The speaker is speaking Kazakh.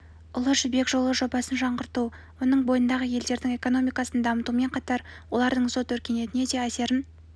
ұлы жібек жолы жобасын жаңғырту оның бойындағы елдердің экономикасын дамытумен қатар олардың сот өркениетіне де әсерін